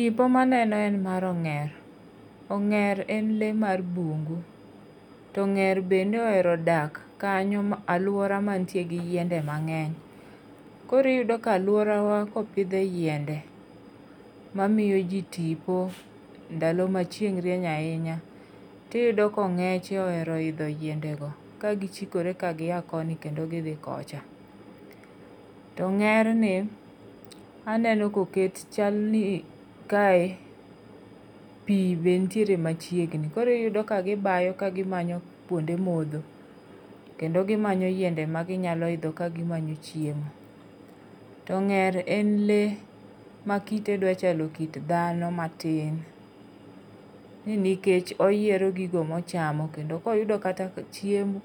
Tipo ma aneno en mar ong'er. Ong'er en lee mar bungu. To ong'er bende ohero dak, kanyo ma, alwora ma nitiere go yiende mang'eny. Koro iyudo ka alworawa ka opidhe e yiende mamiyo ji tipo, ndalo ma chieng' rieny ahinya. To iyudo ka ong'eche ohero idho yiende go. Kagichikore kagiya koni kendo gidhi kocha. To ong'erni, aneno ka oket, chalni kae pi be nitiere machiegni. Koro iyudo ka gibayo, ka gimanyo, kwonde modho, kendo gimanyo yiende ma ginyalo idho ka gimanyo chiemo. To ong'er en lee, ma kite dwa chalo kit dhano matin. Ni nikech oyiero gigo ma ochamo, kendo ka oyudo kata chiembu,